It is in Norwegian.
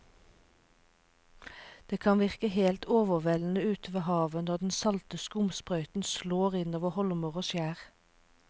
Det kan virke helt overveldende ute ved havet når den salte skumsprøyten slår innover holmer og skjær.